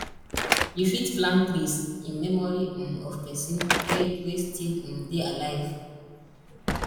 you fit plant trees in memory um of person wey wey still um dey alive